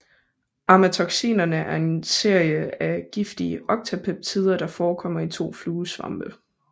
Amatoxinerne er en serie af giftige octapeptider der forekommer i to fluesvampe